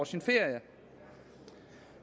sin ferie